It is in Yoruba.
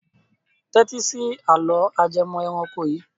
Tẹ́tí sí àlọ́ ajẹmọ́ ẹranko yìí.